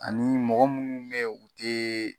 Ani mɔgɔ mUnnu bu yen , u te